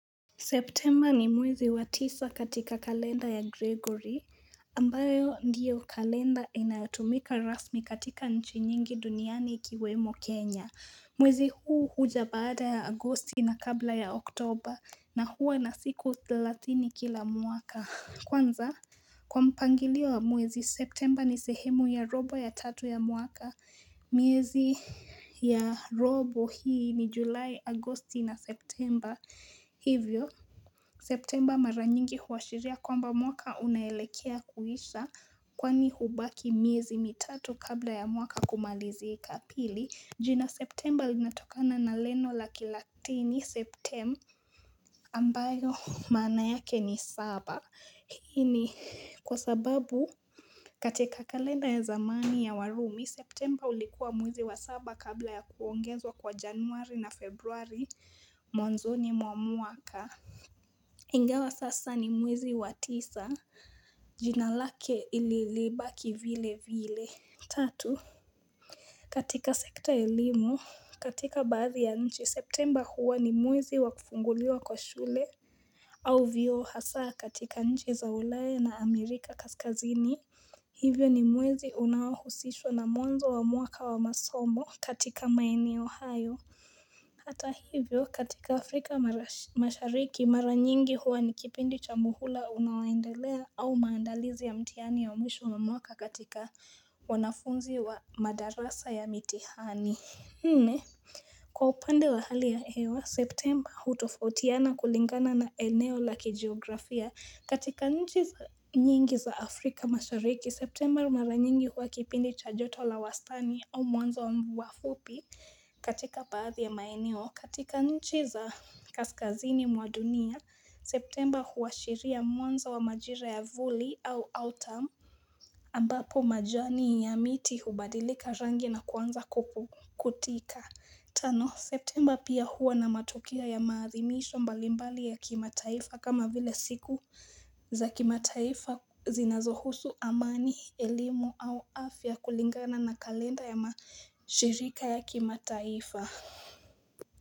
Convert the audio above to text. September ni mwezi wa tisa katika kalenda ya Gregory, ambayo ndiyo kalenda inayotumika rasmi katika nchi nyingi duniani ikiwemo Kenya. Mwezi huu huja baada ya agosti na kabla ya oktober, na hua na siku thelatini kila mwaka. Kwanza, kwa mpangilio wa mwezi, September ni sehemu ya robo ya tatu ya mwaka. Miezi ya robo hii ni July, Agosti na September. Hivyo September maranyingi huwashiria kwamba mwaka unaelekea kuisha kwani hubaki miezi mitatu kabla ya mwaka kumalizika pili jina September linatokana na leno la kilatini Septem ambayo maana yake ni saba hini kwa sababu katika kalenda ya zamani ya warumi September ulikuwa mwizi wa saba kabla ya kuongezwa kwa januari na februari Mwanzoni mwa muaka Ingawa sasa ni mwezi wa tisa Jinalake ililibaki vile vile Tatu katika sekta ya elimu katika baadhi ya nchi september huwa ni mwezi wakufunguliwa kwa shule au vio hasaa katika nchi za ulaya na Amerika kaskazini Hivyo ni mwizi unaohusishwa na mwanzo wa mwaka wa masomo katika maeno hayo Hata hivyo katika Afrika mashariki mara nyingi huwa nikipindi cha muhula unaoendelea au maandalizi ya mtihani wa mwisho wa mwaka katika wanafunzi wa madarasa ya mitihani. Nne kwa upande wa hali ya hewa september hutofautiana kulingana na eneo la kijiografia katika nchi nyingi za afrika mashariki september mara nyingi huwa kipindi cha joto la wastani au mwanzo wa mvua fupi katika baadhi ya maeneo katika nchi za kaskazini mwa dunia september huwashiria mwanzo wa majira ya vuli au autam ambapo majani ya miti hubadilika rangi na kuanza kutika Tano september pia huwa na matokeo ya maathimisho mbalimbali ya kimataifa kama vile siku za kimataifa zinazohusu amani, elimu au afya kulingana na kalenda ya mashirika ya kimataifa.